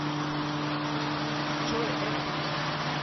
джой эслан